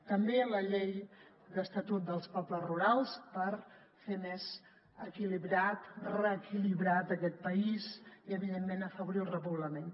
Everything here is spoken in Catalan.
també la llei de l’estatut dels pobles rurals per fer més equilibrat reequilibrat aquest país i evidentment afavorir el repoblament